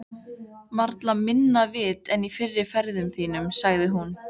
Varla minna vit en í fyrri ferðum þínum, sagði hún.